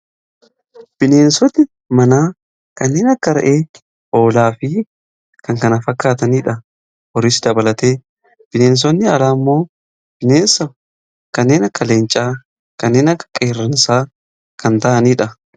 Bineensotni manaa kanneen akka re'ee, hoolaa fi kan kana fakkaataniidha. Horiis dabalate bineensotni alaa ammoo bineensa kanneen akka leencaa kanneen akka qeerransaa kan ta'aniidha.